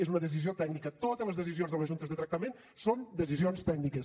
és una decisió tècnica totes les decisions de les juntes de tractament són decisions tècniques